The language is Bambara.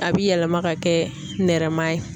A bi yɛlɛma ka kɛ nɛrɛma ye.